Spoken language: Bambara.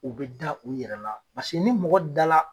U be da u yɛrɛ la, paseke ni mɔgɔ da la